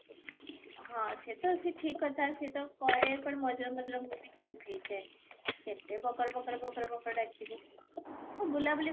ହଁ ସେ ତ ସେ ଠିକ କଥା ସେ ତ ପରେ ମଝିରେ ମଝିରେ ମୁଁ ବି ଚୁପ ହେଇଯାଏ, କେତେ ବକର ବକର ବକର ବକର ବକର ଡାକିବୁ ହଁ ବୁଲା ବୁଲି